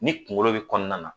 Ni kunkolo bɛ kɔnɔna na